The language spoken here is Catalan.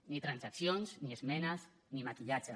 ni transaccions ni esmenes ni maquillatge